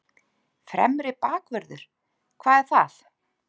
Fremri bakvörður, hvað er það?